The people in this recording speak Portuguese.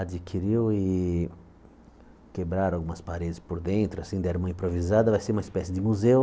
adquiriu e quebraram algumas paredes por dentro assim, deram uma improvisada, vai ser uma espécie de museu.